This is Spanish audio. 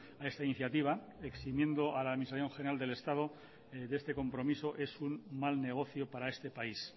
a esta iniciativa eximiendo a la administración general del estado de este compromiso es un mal negocio para este país